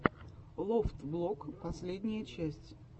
лофтблог последняя часть